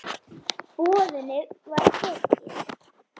Boðinu var tekið.